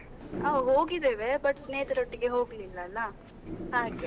ಹಾ ಹೋಗಿದ್ದೇವೆ but ಸ್ನೇಹಿತರೊಟ್ಟಿಗೆ ಹೋಗ್ಲಿಲ್ಲ ಅಲ್ಲ ಹಾಗೆ.